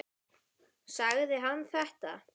Sagði hann þetta?